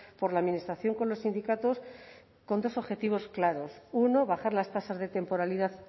por la administración con los sindicatos con dos objetivos claros uno bajar las tasas de temporalidad